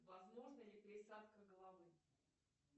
возможна ли пересадка головы